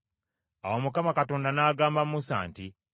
Awo Mukama Katonda n’agamba Musa nti,